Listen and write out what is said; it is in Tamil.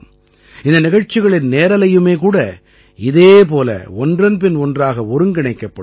இந்த நிகழ்ச்சிகளின் நேரலையுமே கூட இதே போல ஒன்றன்பின் ஒன்றாக ஒருங்கிணைக்கப்படும்